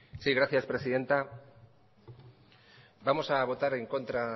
sí gracias presidenta vamos a votar en contra